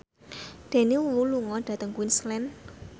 Daniel Wu lunga dhateng Queensland